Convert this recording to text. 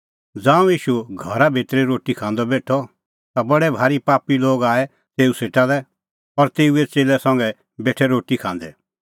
ज़ांऊं ईशू घरा भितरी रोटी खांदअ बेठअ ता बडै भारी पापी लोग आऐ तेऊ सेटा लै और तेऊए च़ेल्लै संघै बेठै रोटी खांदै